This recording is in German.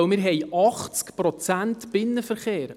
Wir haben 80 Prozent Binnenverkehr.